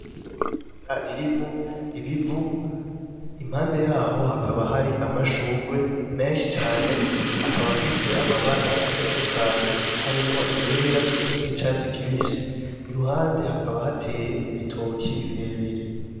Mabara ririmwo ibivu impande yaho hakaba hari amashugwe menshi cane akaba afise amabara atandukanye harimwo igera n'igicatsi kibisi iruhande hakaba hateye ibitoki birebire.